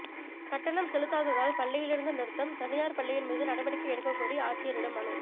கட்டணம் செலுத்தாததால் பள்ளியிலிருந்து நிறுத்தம் தனியார் பள்ளியின் மீது நடவடிக்கை எடுக்கக்கோரி ஆட்சியரிடம் மனு